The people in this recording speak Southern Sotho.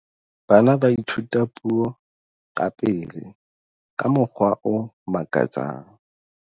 bana ba ithuta puo ka pele ka mokgwa o makatsang